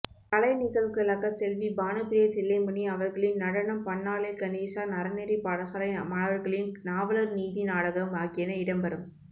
கலை நிகழ்வுகளாக செல்வி பானுப்பிரிய தில்லைமணி அவர்களின் நடனம் பன்னாலை கணேசா அறநெறிப்பாடசாலை மாணவர்களின் நாவலர்நீதி நாடகம் ஆகியன இடம்பெறும்